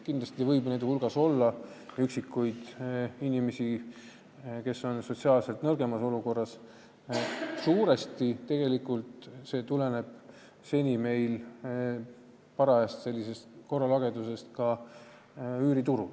Kindlasti võib siin rääkida üksikutest inimestest, kes on sotsiaalselt nõrgemas olukorras, kuid suuresti tuleneb see probleem parajast korralagedusest üüriturul.